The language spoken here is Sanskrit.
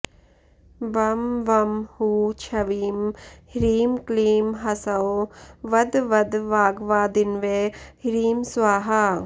वं वं हू क्ष्वीं ह्रीं क्लीँ ह्सौँ वद वद वाग्वादिन्वै ह्रीं स्वाहा